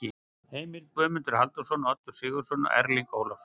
Heimild: Guðmundur Halldórsson, Oddur Sigurðsson og Erling Ólafsson.